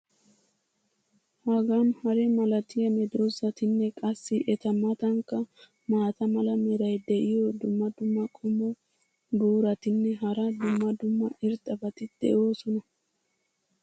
hagan hare malatiya medoosatinne qassi eta matankka maata mala meray diyo dumma dumma qommo buuratinne hara dumma dumma irxxabati de'oosona.